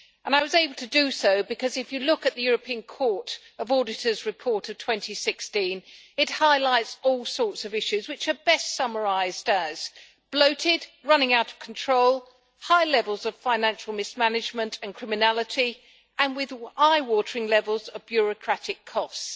I was able to do so because, if you look at the European Court of Auditors' report of 2016, it highlights all sorts of issues which are best summarised as bloated', running out of control', high levels of financial mismanagement and criminality', and eye watering levels of bureaucratic costs'.